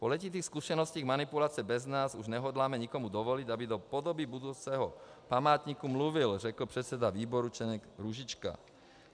Po letitých zkušenostech manipulace bez nás už nehodláme nikomu dovolit, aby do podoby budoucího památníku mluvil, řekl předseda výboru Čeněk Růžička.